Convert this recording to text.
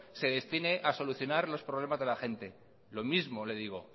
se destine a solucionar los problemas de la gente lo mismo le digo